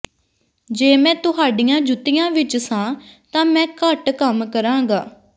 ਜੇ ਮੈਂ ਤੁਹਾਡੀਆਂ ਜੁੱਤੀਆਂ ਵਿਚ ਸਾਂ ਤਾਂ ਮੈਂ ਘੱਟ ਕੰਮ ਕਰਾਂਗਾ